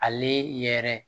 Ale yɛrɛ